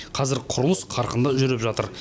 қазір құрылыс қарқынды жүріп жатыр